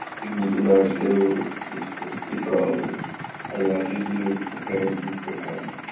ты мне кидаешь левую сиську и правую а я определю какая из них какая